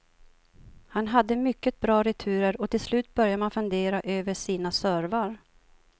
Han hade mycket bra returer och till slut börjar man fundera över sina servar.